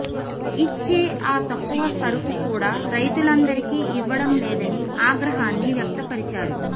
ఇచ్చే ఆ తక్కువ సరుకు కూడా రైతులందరికీ ఇవ్వడం లేదని ఆగ్రహాన్ని వ్యక్తపరిచారు